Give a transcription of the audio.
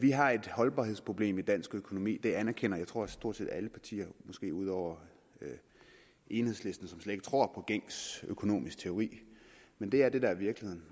vi har et holdbarhedsproblem i dansk økonomi det anerkender tror jeg stort set alle partier måske ud over enhedslisten som slet ikke tror på gængs økonomisk teori men det er det der er virkeligheden